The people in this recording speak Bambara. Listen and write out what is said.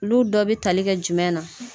Olu dɔ bi tali kɛ jumɛn na?